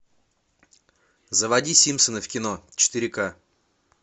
заводи симпсоны в кино четыре ка